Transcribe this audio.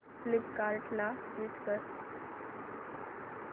फ्लिपकार्टं ला स्विच कर